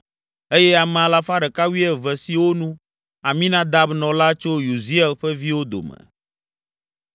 eye ame alafa ɖeka wuieve (112) siwo nu, Aminadab nɔ la tso Uziel ƒe viwo dome.